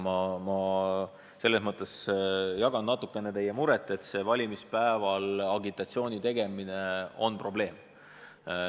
Ja selles mõttes ma natukene jagan teie muret, et valimispäeval agitatsiooni tegemine on probleem.